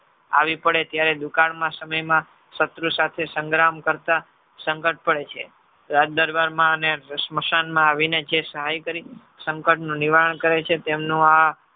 આવી પડે ત્યારે દુકાળ ના સમયમાં શત્રુ સાથે સંગ્રામ કરતા સંકટ પડે છે. રાજદરબારમાં અને સ્મશાનમાં આવીને જે સહાય તરીકે સંકટનું નિવારણ કરે છે. તેમનું આ